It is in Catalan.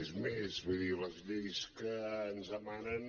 és més vull dir les lleis que ens emanen